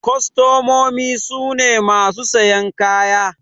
Kwastamomi su ne masu sayan kaya.